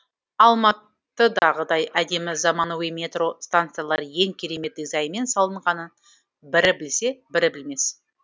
алматыдағыдай әдемі заманауи метро станциялар ең керемет дизайнмен салынғанын бірі білсе бірі білмес